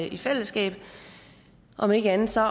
i fællesskab om ikke andet så